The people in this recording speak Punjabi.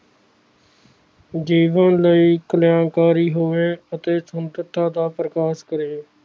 ਜੀਵਨ ਲਈ ਕਲਿਆਣਕਾਰੀ ਹੋਵੇ ਸੰਪਤਾ ਦਾ ਪ੍ਰਕਾਸ਼ ਕਰੇ